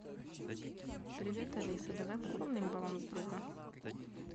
привет алиса давай пополним баланс друга